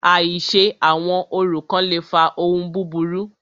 Àìṣe àwọn orò kán le fa ohun búburú.